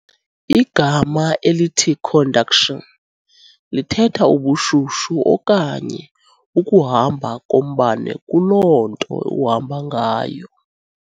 Igama elithi conduction lithetha ubushushu okanye ukuhamba kombane kuloo nto uhamba ngayo.